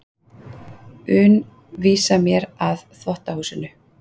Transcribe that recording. un vísa mér að þvottahúsinu.